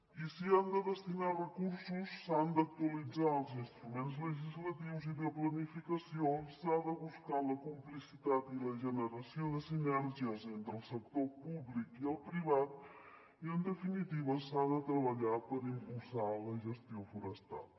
i s’hi han de destinar recursos s’han d’actualitzar els instruments legislatius i de planificació s’ha de buscar la complicitat i la generació de sinergies entre el sector públic i el privat i en definitiva s’ha de treballar per impulsar la gestió forestal